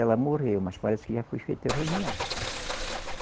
Ela morreu, mas parece que já foi feita a reunião.